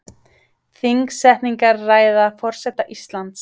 Þingsetningarræða forseta Íslands